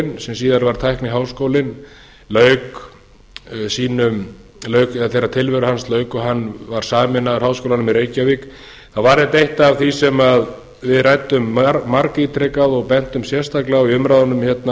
tækniháskólinn sem síðar varð tækniháskólinn þegar tilveru hans lauk og hann var sameinaður háskólanum í reykjavík var þetta eitt af því sem við ræddum margítrekað og bentum sérstaklega á í umræðunum hérna